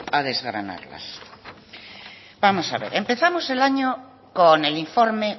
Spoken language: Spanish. a desgranarlas vamos a ver empezamos el año con el informe